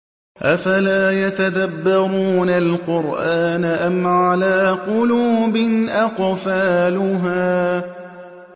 أَفَلَا يَتَدَبَّرُونَ الْقُرْآنَ أَمْ عَلَىٰ قُلُوبٍ أَقْفَالُهَا